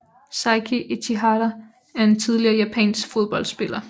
Seiki Ichihara er en tidligere japansk fodboldspiller